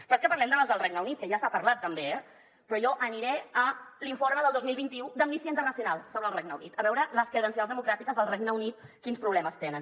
però és que parlem de les del regne unit que ja se n’ha parlat també eh però jo aniré a l’informe del dos mil vint u d’amnistia internacional sobre el regne unit a veure les credencials democràtiques del regne unit quins problemes tenen